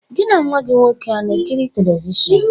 Gị na nwa gị nwoke a na-ekiri telivishọn?